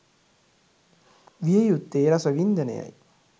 විය යුත්තේ රසවින්දනයයි